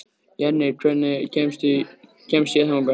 Jenni, hvernig kemst ég þangað?